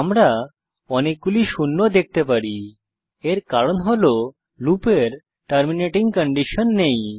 আমরা অনেকগুলি শূন্য দেখতে পারি এর কারণ হল লুপের টার্মিনেটিং কন্ডিশন নেই